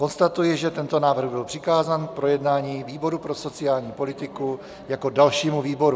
Konstatuji, že tento návrh byl přikázán k projednání výboru pro sociální politiku jako dalšímu výboru.